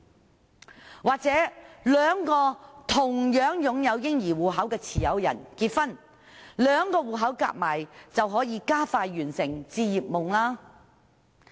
又或者兩名"嬰兒基金"戶口持有人結婚，兩個戶口加起來便可以加快實現置業夢想。